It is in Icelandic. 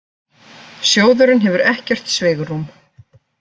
Sjóðurinn hefur ekkert svigrúm